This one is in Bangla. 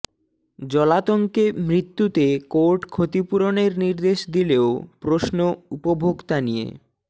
জলাতঙ্কে মৃত্যুতে কোর্ট ক্ষতিপূরণের নির্দেশ দিলেও প্রশ্ন উপভোক্তা নিয়ে